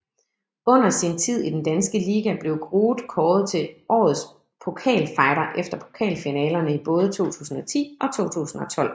Under sin tid i den danske liga blev Groot kåret til årets pokalfighter efter pokalfinalerne i både 2010 og 2012